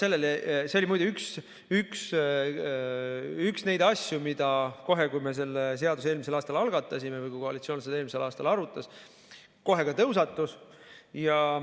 See oli muide üks neid asju, mis kohe, kui me selle seaduse eelmisel aastal algatasime või kui koalitsioon seda eelmisel aastal arutas, tõusetus.